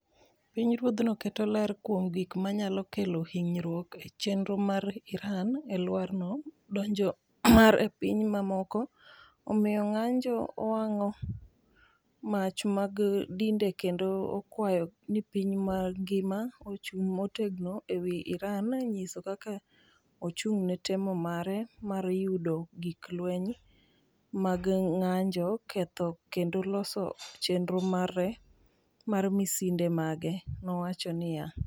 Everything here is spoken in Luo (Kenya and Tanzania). “Pinyruothno keto ler kuom gik ma nyalo kelo hinyruok e chenro mar Iran e alworano, donjo mare e pinje mamoko, omiyo ng’anjo, owang’o mach mag dinde kendo okwayo ni piny mangima ochung’ motegno e wi Iran nyiso kaka ochung’ne temo mare mar yudo gik lweny mag ng’anjo ketho kendo loso chenro mare mar misinde mage,” nowacho niya.